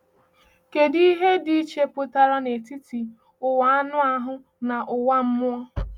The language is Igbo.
Kèdụ ihe dị iche pụtara n’etiti ụwa anụ ahụ na ụwa mmụọ?